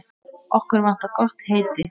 Okkur vantar gott heiti.